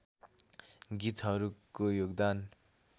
गीतहरूको योगदान